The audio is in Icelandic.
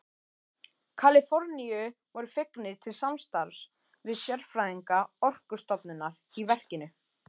Kaliforníu voru fengnir til samstarfs við sérfræðinga Orkustofnunar í verkinu.